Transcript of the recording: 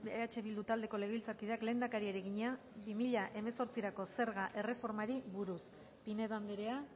eh bildu taldeko legebiltzarkideak lehendakariari egina bi mila hemezortzirako zerga erreformari buruz pinedo andrea